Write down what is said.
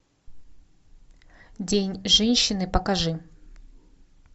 день женщины покажи